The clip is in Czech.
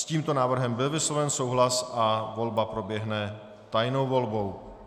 S tímto návrhem byl vysloven souhlas a volba proběhne tajnou volbou.